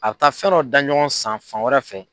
A bi taa fɛn dɔ da ɲɔgɔn san fan wɛrɛ fɛ